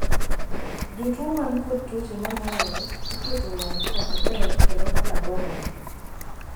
jotuo man kod tuoche manuoyore iketo e arita maber kendo kaka dwarore